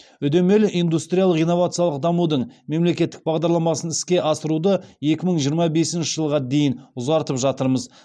үдемелі индустриялық инновациялық дамудың мемлекеттік бағдарламасын іске асыруды екі мың жиырма бесінші жылға дейін ұзартып жатырмыз